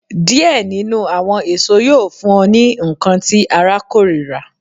Diẹ ninu awọn eso yoo fun ọ ni nkan ti ara korira